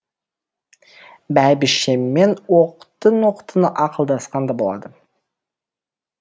бәйбішемен оқтын оқтын ақылдасқан да болады